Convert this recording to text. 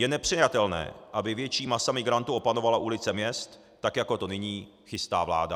Je nepřijatelné, aby větší masa migrantů opanovala ulice měst tak, jako to nyní chystá vláda.